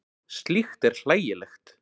Slíkt er hlægilegt.